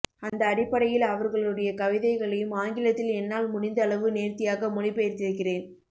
அந்த அடிப்படையில் அவர்களுடைய கவிதைகளையும் ஆங்கிலத் தில் என்னால் முடிந்த அளவு நேர்த்தியாக மொழிபெயர்த்திருக்கிறேன்